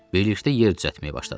Birlikdə yer düzəltməyə başladıq.